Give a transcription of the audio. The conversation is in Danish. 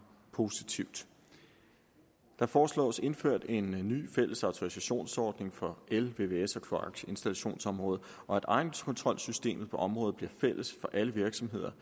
positivt der foreslås indført en ny fælles autorisationsordning på el vvs og kloakinstallationsområdet og at egenkontrolsystemet på området bliver fælles for alle virksomheder